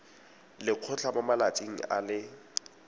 lekgotlha mo malatsing a le